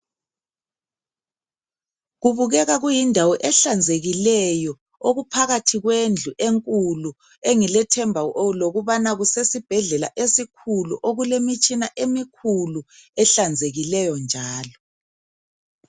Kubukeka kuyindawo ehlanzekileyo okuphakathi kwendlu enkulu engilethemba lokubana kusesibhedlela esikhulu okulemitshina emikhulu ehlanzekileyo njalo